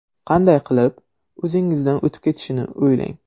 Qanday qilib o‘zingizdan o‘tib ketishni o‘ylang.